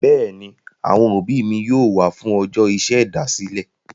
Bẹ́ẹ̀ ni, àwọn òbí mi yóò wà á fún ọjọ́ ìṣèdásílẹ̀.